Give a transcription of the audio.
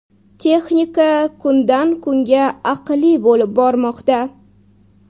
Texnika kundan kunga aqlli bo‘lib bormoqda.